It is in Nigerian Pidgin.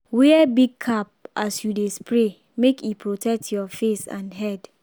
wear big cap as you dey spray make e protect your face and head.